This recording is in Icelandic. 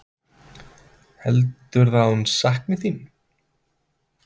Heldurðu að hún sakni þín?